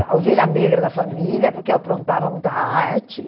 a ovelha negra da família, porque eu aprontava muita arte.